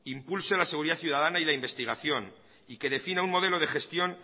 impulse la seguridad ciudadana y investigación y que defina un modelo de gestión